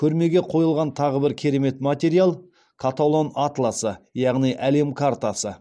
көрмеге қойылған тағы бір керемет материал каталон атласы яғни әлем картасы